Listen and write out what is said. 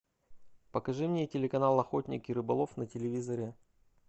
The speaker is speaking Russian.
покажи мне телеканал охотник и рыболов на телевизоре